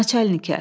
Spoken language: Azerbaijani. Naçalnikə.